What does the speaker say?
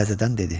təzədən dedi.